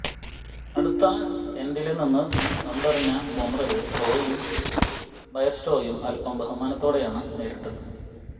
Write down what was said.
അടുത്ത എന്ഡില് നിന്നു പന്തെറിഞ്ഞ ബുംറയെ റോയിയും ബയര്സ്റ്റോയും അല്പ്പം ബഹുമാനത്തോടെയാണ് നേരിട്ടത്